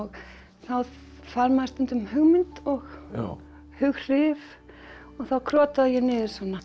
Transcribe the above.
þá fær maður stundum hugmynd og hughrif og þá krotaði ég niður